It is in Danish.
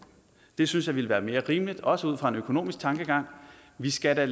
det synes jeg ville være mere rimeligt også ud fra en økonomisk tankegang vi skal da